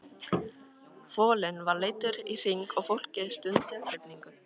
Folinn var leiddur í hring og fólkið stundi af hrifningu.